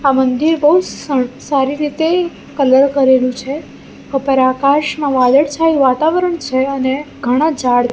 આ મંદિર બઉ સણ સારી રીતે કલર કરેલુ છે ઉપર આકાશમાં વાદળછાયુ વાતાવરણ છે અને ઘણા ઝાડ.